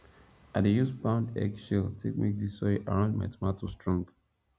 i dey use pound egg shell take make the soil around my tomato strong